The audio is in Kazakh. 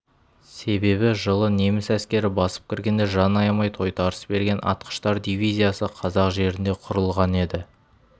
себебі жылы неміс әскері басып кіргенде жан аямай тойтарыс берген атқыштар дивизиясы қазақ жерінде құрылған еді